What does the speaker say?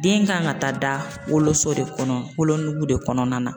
Den kan ka taa da wo woloso de kɔnɔ wolonugu de kɔnɔna na